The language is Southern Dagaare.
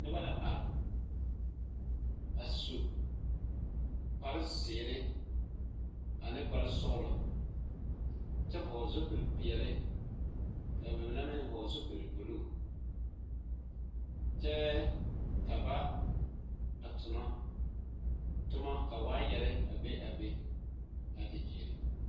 Noba la are a su kparezeere ane kparesɔglɔ kyɛ vɔgle zupile peɛɛli ka ba mine meŋ vɔgle zupil bluu kyɛɛ ka ba a tonɔ tomma ka waayarre a be a be a te gyeere.